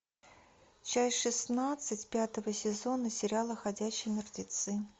часть шестнадцать пятого сезона сериала ходячие мертвецы